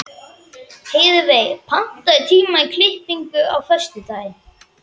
Heiðveig, pantaðu tíma í klippingu á föstudaginn.